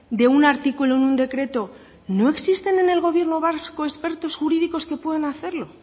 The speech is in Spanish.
de un artículo en un decreto no existen en el gobierno vasco expertos jurídicos que puedan hacerlo